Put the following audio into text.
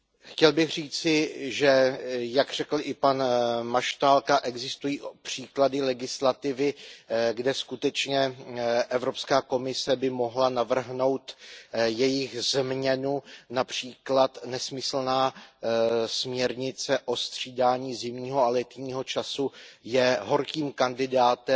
Chtěl bych říci, že jak řekl i pan Maštálka, existují příklady legislativy, kde by skutečně Evropská komise mohla navrhnout jejich změnu, například nesmyslná směrnice o střídání zimního a letního času je horkým kandidátem